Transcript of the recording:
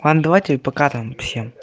а ну давайте пока там всем